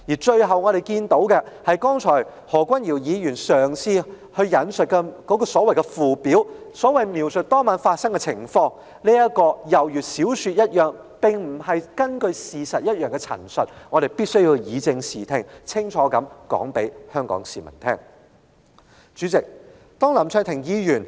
最後，我們注意到，何君堯議員剛才所引述描述當晚事件始末的附表便猶如小說情節般，當中載有沒有事實根據的陳述，我們必須清楚告訴香港市民，以正視聽。